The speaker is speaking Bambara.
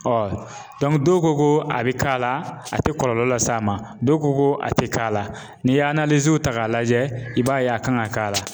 dɔw ko ko a bi k'a la, a ti kɔlɔlɔ las'a ma, dɔw ko ko a tɛ k'a la, n'i y'a ta k'a lajɛ, i b'a ye a kan ka k'a la.